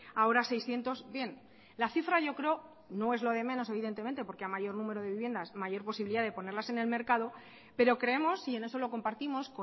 ahora seiscientos bien la cifra yo creo no es lo de menos evidentemente porque a mayor número de viviendas mayor posibilidad de ponerlas en el mercado pero creemos y en eso lo compartimos